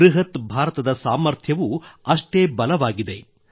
ಬೃಹತ್ ಭಾರತದ ಸಾಮರ್ಥ್ಯವೂ ಅಷ್ಟೇ ಬಲವಾಗಿದೆ